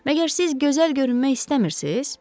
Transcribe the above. Məgər siz gözəl görünmək istəmirsiz?